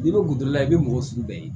N'i bɛ kuntigi la i bɛ mɔgɔ sugu bɛɛ ye